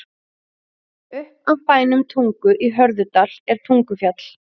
Upp af bænum Tungu í Hörðudal er Tungufjall.